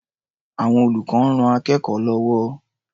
Àwọn olùkọ́ ń ran akẹ́kọ̀ó lọ́wọ́.